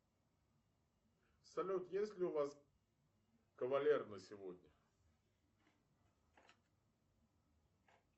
салют есть ли у вас кавалер на сегодня